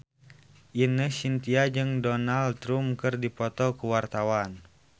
Ine Shintya jeung Donald Trump keur dipoto ku wartawan